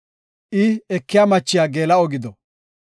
“I ekiya machiya geela7o gido.